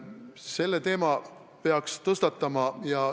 Selle teema peaks tõstatama.